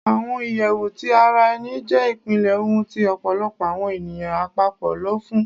Awọn iyẹwu ti ara ẹni jẹ ipilẹ ohun ti ọpọlọpọ awọn eniyan apapọ lọ fun